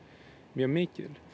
mjög mikið